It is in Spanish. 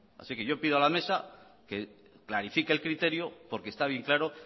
así que yo pido a la mesa que clarifique el criterio porque está bien claro